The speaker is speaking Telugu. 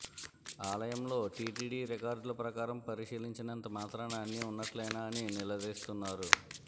ఆలయంలో టిటిడి రికార్డుల ప్రకారం పరిశీలించినంత మాత్రాన అన్నీ ఉన్నట్లేనా అని నిలదీస్తున్నారు